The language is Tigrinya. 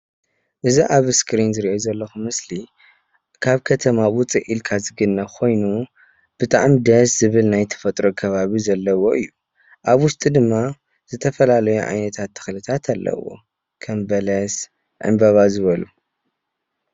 እዝ ኣብ ስክሪን ዝሪኦ ዘለኩ ምስሊ ካብከተማ ውፅእ ኢልካ ዝግነ ብጣዕሚ ደስ ዝብል ናይተፈጥሮ ዘለዎ እዩ። ኣብ ውሽጡ ድማ ዘተፈላለዩ ዓይነታት ተክሊ ኣለው። ከም በለስ፣ ዕምበባ ዝበሉ።